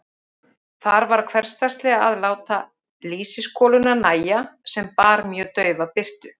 Þar varð hversdagslega að láta lýsiskoluna nægja, sem bar mjög daufa birtu.